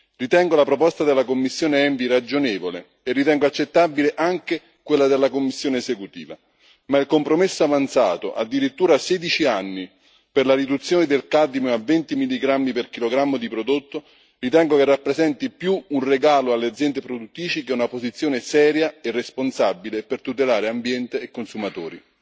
Ritengo la proposta della commissione ENVI ragionevole e ritengo accettabile anche quella della commissione esecutiva, ma il compromesso avanzato addirittura sedici anni per la riduzione del cadmio a 20 milligrammi per chilogrammo di prodotto ritengo che rappresenti più un regalo alle aziende produttrici che una posizione seria e responsabile per tutelare ambiente e consumatori.